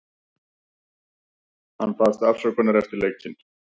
Hann baðst afsökunar eftir leikinn.